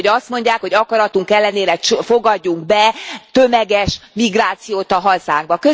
Úgy, hogy azt mondják, hogy akaratunk ellenére fogadjunk be tömeges migrációt a hazánkba.